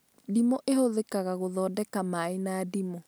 Ndimũ ĩhũthĩkaga gũthondeka maĩ na ndimũ